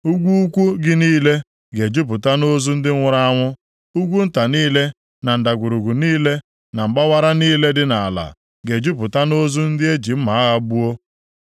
Ugwu ukwu gị niile ga-ejupụta nʼozu ndị nwụrụ anwụ, ugwu nta niile, na ndagwurugwu niile na mgbawara niile dị nʼala ga-ejupụta nʼozu ndị e ji mma agha gbuo.